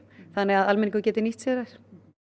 þannig að almenningur geti nýtt sér þær